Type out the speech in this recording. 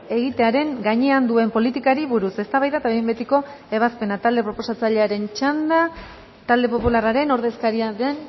egitearen gainean duen politikari buruz eztabaida eta behin betiko ebazpena talde proposatzailearen txanda talde popularraren ordezkaria den